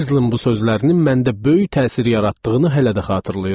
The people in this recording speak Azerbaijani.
Herzlin bu sözlərinin məndə böyük təsir yaratdığını hələ də xatırlayıram.